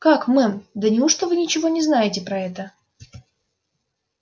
как мэм да неужто вы ничего не знаете про это